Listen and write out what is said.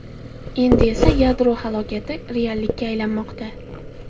Endi esa yadro halokati reallikka aylanmoqda.